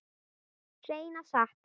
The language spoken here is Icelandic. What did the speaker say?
Hreina satt.